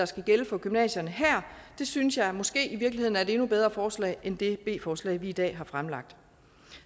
skal gælde for gymnasierne her synes jeg måske i virkeligheden er et endnu bedre forslag end det b forslag vi i dag har fremsat